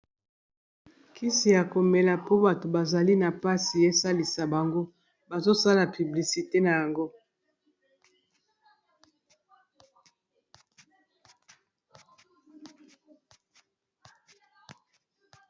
Kisi ya komela po bato bazali na mpasi esalisa bango bazosala piblisite na yango